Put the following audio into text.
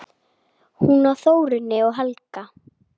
Hún á Þórunni og Helga.